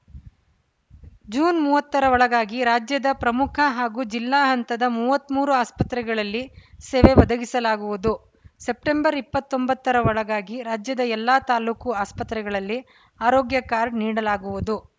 June ಮೂವತ್ರ ಒಳಗಾಗಿ ರಾಜ್ಯದ ಪ್ರಮುಖ ಹಾಗೂ ಜಿಲ್ಲಾ ಹಂತದ ಮೂವತ್ತ್ ಮೂರು ಆಸ್ಪತ್ರೆಗಳಲ್ಲಿ ಸೇವೆ ಒದಗಿಸಲಾಗುವುದು ಸೆಪ್ಟೆಂಬರ್ ಇಪತ್ತೊಂಬತ್ತರ ಒಳಗಾಗಿ ರಾಜ್ಯದ ಎಲ್ಲಾ ತಾಲೂಕು ಆಸ್ಪತ್ರೆಗಳಲ್ಲಿ ಆರೋಗ್ಯ ಕಾರ್ಡ್‌ ನೀಡಲಾಗುವುದು